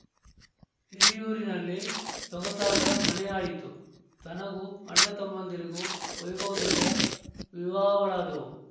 ಹಿರಿಯೂರಿನಲ್ಲಿ ಸೊಗಸಾದ ಮನೆಯಾಯಿತು ತನಗೂ ಅಣ್ಣ ತಮ್ಮಂದಿರಿಗೂ ವೈಭವದಿಂದ ವಿವಾಹಗಳಾದವು